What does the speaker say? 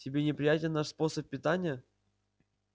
тебе неприятен наш способ питания